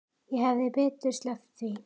Ég hefði betur sleppt því.